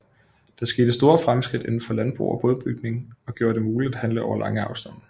Der skete store fremskridt indenfor landbrug og bådebygning og gjorde det muligt at handle over lange afstande